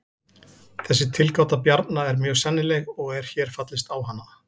Þessi tilgáta Bjarna er mjög sennileg og er hér fallist á hana.